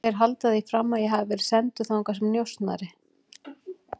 Þeir halda því fram að ég hafi verið sendur þangað sem njósnari